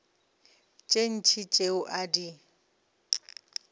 tše ntši tšeo a di